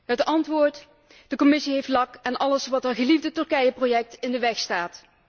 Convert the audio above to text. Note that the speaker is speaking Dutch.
Het antwoord de Commissie heeft lak aan alles wat haar geliefde Turkijeproject in de weg staat.